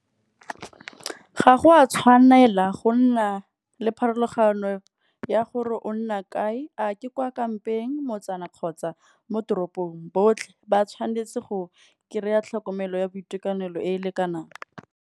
Ga go a tshwanela go nna le pharologano ya gore o nna kae a ke kwa kampeng, motsana kgotsa mo toropong. Botlhe ba tshwanetse go kry-a tlhokomelo ya boitekanelo e e lekanang.